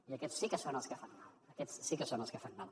i aquests sí que són els que fan mal aquests sí que són els que fan mal